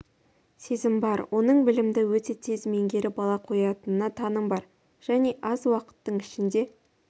сезім бар оның білімді өте тез меңгеріп ала қоятынына таңым бар және аз уақыттың ішінде